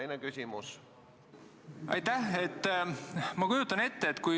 Signe Riisalo, palun!